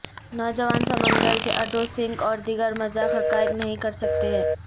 نوجوان سمندر کے اڈوں سنک اور دیگر مذاق حقائق نہیں کر سکتے ہیں